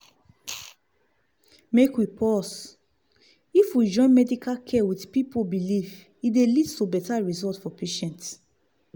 make we pause — if we join medical care with people belief e dey lead to better result for patients.